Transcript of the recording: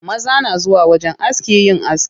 Maza na zuwa wajen aski yin aski.